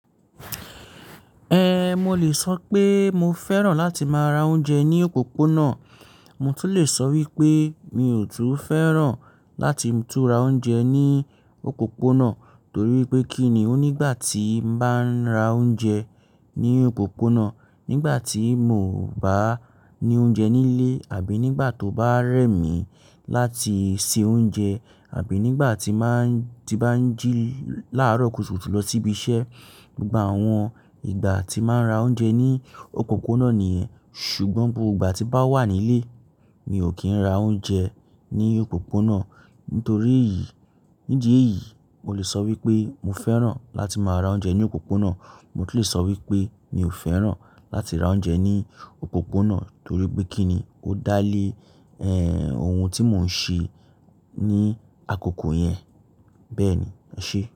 Eh, mo lè sọ pé mo fẹ́ràn láti máa ra oúnjẹ ní òponà, mo tún lè sọ wípé mi ò tún fẹ́ràn láti tún ra oúnjẹ ní òpópónà. Torí wipé kí ni ó nígbà tí n bá ń ra oúnjẹ ní òpópónà, nígbà tí mo bá ní oúnjẹ nílé àbí nígbà tó bá rẹ̀ mí láti se oúnjẹ àbí nígbà tí má ń, tí bá ń jí láàárọ̀ kùtùkùtù lọ síbi iṣẹ́. Gba àwọn ìgbà tí má ń ra oúnjẹ ní òpópónà nìyẹn, ṣùgbọ́n gbogbo ìgbà tí bá wà nílé mi ò kí ń ra oúnjẹ ní òpópónà. Nítorí èyí, nídi èyí, mo lè sọ wípé mo fẹ́ràn láti máa ra oúnjẹ ní òpópónà, mo tún lè sọ wípé mi ò fẹ́ràn láti ra oúnjẹ ní òpópónà torí pé kí ni ó dá lé, eh, ohun tí mò ń ṣe ní àkókò yẹn. Bẹ́ẹ̀ni, e ṣé.